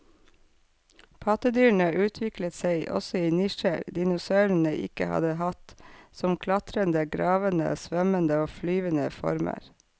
Pattedyrene utviklet seg også i nisjer dinosaurene ikke hadde hatt, som klatrende, gravende, svømmende og flyvende former.